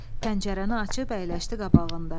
Pəncərəni açıb əyləşdi qabağında.